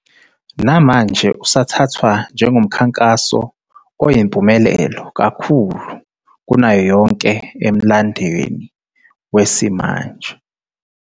Namanje usathathwa njengomkhankaso oyimpumelelo kakhulu kunayo yonke emlandweni wesimanje.